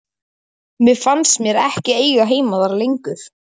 Mér fannst ég ekki eiga heima þar lengur.